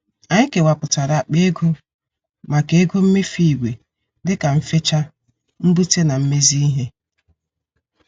Anyị kewaputara akpa ego maka ego mmefu ìgwè dịka mfecha ,mbute na mmezi ihe.